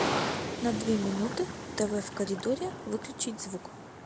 на две минуты тв в коридоре выключить звук